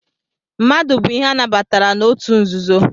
Mmadu bu ihe anabatara na otu nzuzo?